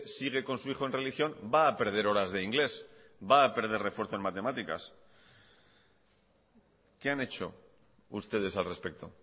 sigue con su hijo en religión va a perder horas de inglés va a perder refuerzo en matemáticas qué han hecho ustedes al respecto